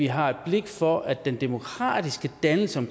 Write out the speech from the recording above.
har et blik for at den demokratiske dannelse i